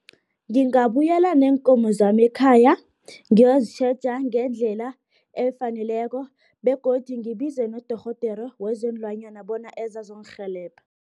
Ngingabuyela neenkomo zami ekhaya, ngiyozitjheja ngendlela efaneleko, begodu ngibize nodorhodere wezeenlwanyana bona eze azongirhelebha.